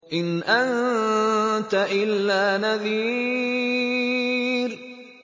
إِنْ أَنتَ إِلَّا نَذِيرٌ